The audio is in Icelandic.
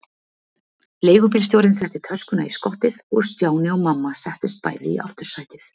Leigubílstjórinn setti töskuna í skottið og Stjáni og mamma settust bæði í aftursætið.